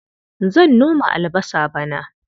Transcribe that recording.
Zan noma albasa bana.